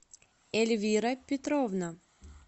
эльвира петровна